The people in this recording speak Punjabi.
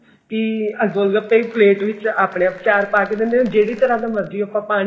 ਵੀ ਅਹ ਗੋਲ ਗੱਪੇ ਵੀ ਪਲੇਟ ਵਿੱਚ ਆਪਨੇ ਆਪ ਚਾਰ ਪਾ ਕੇ ਦਿੰਦੇ ਜਿਹੜੀ ਤਰ੍ਹਾਂ ਦੀ ਮਰਜੀ ਆਪਾਂ ਪਾਣੀ